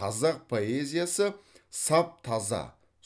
қазақ поэзиясы саф таза